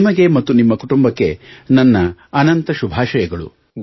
ನಿಮಗೆ ಮತ್ತು ನಿಮ್ಮ ಕುಟುಂಬಕ್ಕೆ ನನ್ನ ಅನಂತ ಶುಭಾಷಯಗಳು